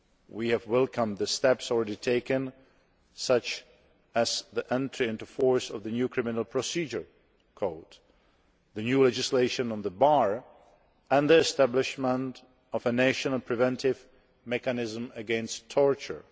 We have welcomed the steps already taken, such as the entry into force of the new Criminal Procedure Code, the new legislation on the Bar and the establishment of a national preventive mechanism against torture.